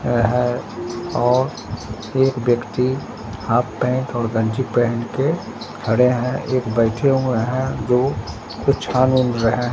यह है और एक व्यक्ति हाफ पैंट और गंजी पहन के खड़े हैं एक बैठे हुए हैं जो कुछ छान ओन रहे है।